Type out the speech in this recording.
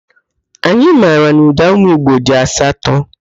Anyị mara na ụdaume igbo dị asatọ